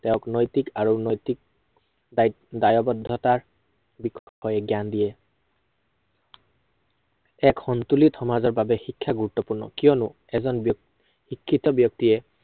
তেওঁক নৈতিক আৰু নৈতিক দায়িত্ব দায়ৱদ্ধতাৰ, বিষয়ে জ্ঞান দিয়ে। এক সন্তুলিত সমাজৰ বাবে শিক্ষা গুৰুত্বপূৰ্ণ। কিয়নো এজন শিক্ষিত ব্য়ক্তিয়ে